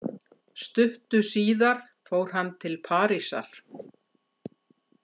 Stuttu síðar fór hann til Parísar.